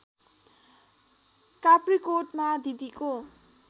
काप्रीकोटमा दिदीको